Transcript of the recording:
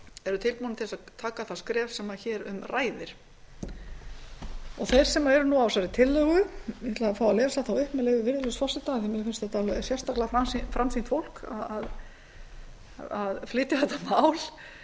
eru tilbúnir til að taka það skref sem hér um ræðir þeir sem eru á þessari tillögu ég ætla að fá að lesa þá upp með leyfi virðulegs forseta en mér finnst þetta alveg sérstaklega framsýnt fólk að flytja þetta mál